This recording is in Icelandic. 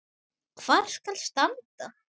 Hvar skal standa?